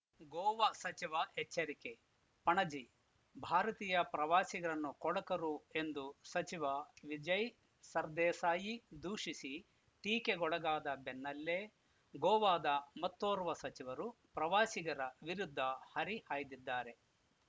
ಗೋವ ಸಚಿವ ಎಚ್ಚರಿಕೆ ಪಣಜಿ ಭಾರತೀಯ ಪ್ರವಾಸಿಗರನ್ನು ಕೊಳಕರು ಎಂದು ಸಚಿವ ವಿಜಯ್‌ ಸರ್‌ದೇಸಾಯಿ ದೂಷಿಸಿ ಟೀಕೆಗೊಳಗಾದ ಬೆನ್ನಲ್ಲೇ ಗೋವಾದ ಮತ್ತೋರ್ವ ಸಚಿವರು ಪ್ರವಾಸಿಗರ ವಿರುದ್ಧ ಹರಿಹಾಯ್ದಿದ್ದಾರೆ